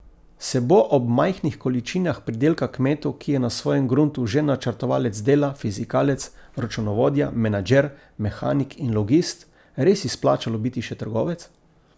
Se bo ob majhnih količinah pridelka kmetu, ki je na svojem gruntu že načrtovalec dela, fizikalec, računovodja, menedžer, mehanik in logist, res izplačalo biti še trgovec?